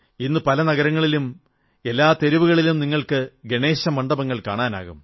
ഇന്ന് പല നഗരങ്ങളിലും എല്ലാ തെരുവുകളിലും നിങ്ങൾക്ക് ഗണേശമണ്ഡപങ്ങൾ കാണാനാകും